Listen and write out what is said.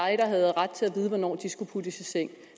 havde ret til at vide hvornår de skulle puttes i seng